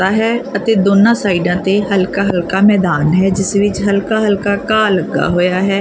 ਦਾ ਹੈ ਅਤੇ ਦੋਨਾਂ ਸਾਈਡਾਂ ਤੇ ਹਲਕਾ ਹਲਕਾ ਮੈਦਾਨ ਹੈ ਜਿੱਸ ਵਿੱਚ ਹਲਕਾ ਹਲਕਾ ਘਾਹ ਲੱਗਾ ਹੋਇਆ ਹੈ।